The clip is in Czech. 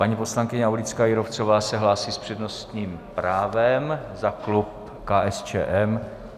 Paní poslankyně Aulická Jírovcová se hlásí s přednostním právem za klub KSČM.